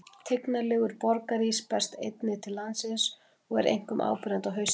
Tignarlegur borgarís berst einnig til landsins og er einkum áberandi á haustin.